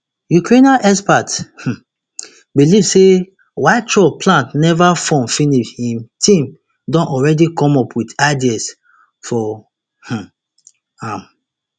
ukrainian experts um believe say while trump plan neva form finish im team don already come up wit ideas for um am